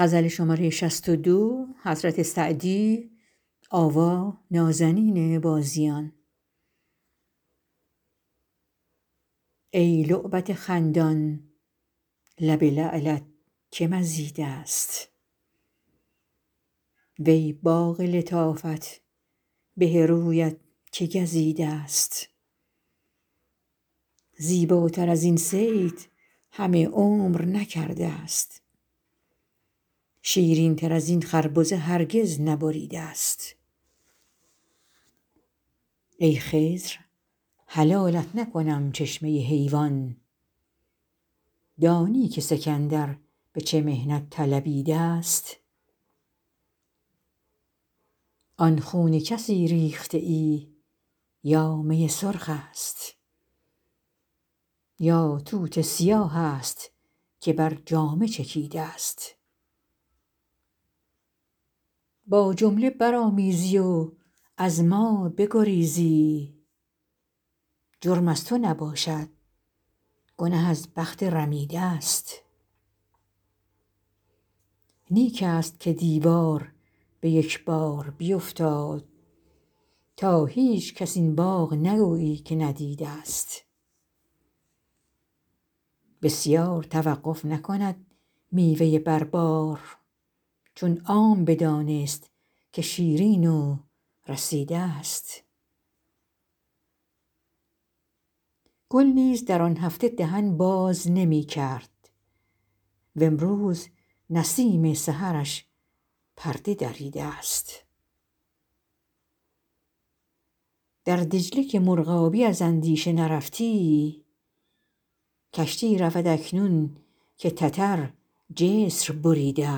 ای لعبت خندان لب لعلت که مزیده ست وی باغ لطافت به رویت که گزیده ست زیباتر از این صید همه عمر نکرده ست شیرین تر از این خربزه هرگز نبریده ست ای خضر حلالت نکنم چشمه حیوان دانی که سکندر به چه محنت طلبیده ست آن خون کسی ریخته ای یا می سرخ است یا توت سیاه است که بر جامه چکیده ست با جمله برآمیزی و از ما بگریزی جرم از تو نباشد گنه از بخت رمیده ست نیک است که دیوار به یک بار بیفتاد تا هیچکس این باغ نگویی که ندیده ست بسیار توقف نکند میوه بر بار چون عام بدانست که شیرین و رسیده ست گل نیز در آن هفته دهن باز نمی کرد وامروز نسیم سحرش پرده دریده ست در دجله که مرغابی از اندیشه نرفتی کشتی رود اکنون که تتر جسر بریده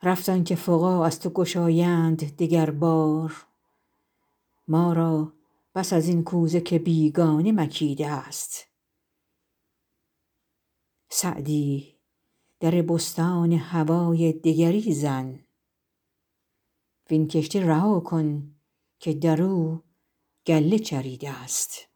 ست رفت آن که فقاع از تو گشایند دگر بار ما را بس از این کوزه که بیگانه مکیده ست سعدی در بستان هوای دگری زن وین کشته رها کن که در او گله چریده ست